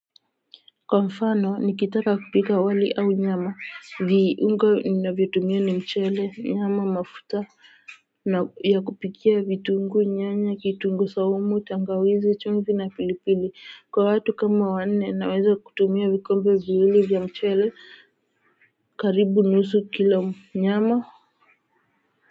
Kwa mfano nikitaka kupika wali au nyama viungo ninavyo tumia ni mchele nyama mafuta na ya kupikia vitunguu nyanya kitunguu saumu tangawizi chumvi na pilipili kwa watu kama wanne naweza kutumia vikombe viwili vya mchele karibu nusu kilo nyama.